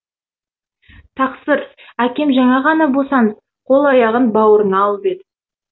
тақсыр әкем жаңа ғана босанып қол аяғын бауырына алып еді